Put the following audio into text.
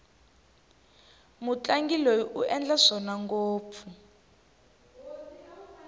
mutlangi loyi u endla swona ngopfu